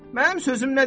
Mənim sözüm nədir ki?